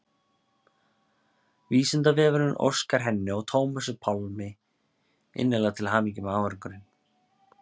Vísindavefurinn óskar henni og Tómasi Pálmi innilega til hamingju með árangurinn.